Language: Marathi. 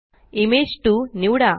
इमेज 2 निवडा